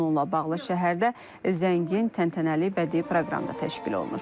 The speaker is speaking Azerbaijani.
Bununla bağlı şəhərdə zəngin təntənəli bədii proqram da təşkil olunur.